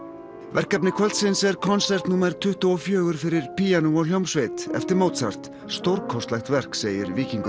verkefni kvöldsins er konsert númer tuttugu og fjögur fyrir píanó og hljómsveit eftir Mozart stórkostlegt verk segir Víkingur